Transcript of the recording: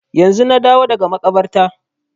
Yanzu na dawo daga makabarta